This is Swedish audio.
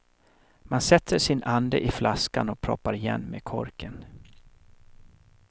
Man sätter sin ande i flaskan och proppar igen med korken.